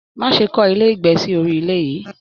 Má ṣe kọ ilé ìgbé sí orí ilẹ yìí!